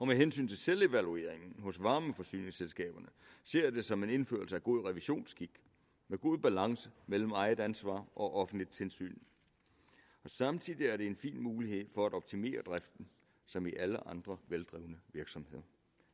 med hensyn til selvevalueringen hos varmeforsyningsselskaberne ser jeg det som en indførelse af god revisionsskik med god balance mellem eget ansvar og offentligt tilsyn og samtidig er det en fin mulighed for at optimere driften som i alle andre veldrevne virksomheder